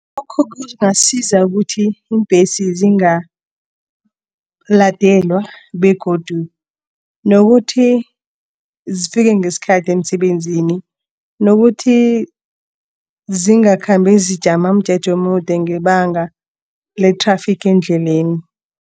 Lokho kungasiza ukuthi iimbhesi zingaladelwa begodu nokuthi zifike ngesikhathi emsebenzini nokuthi zingakhambi zijama umjeje omude ngebanga le-traffic endleleni.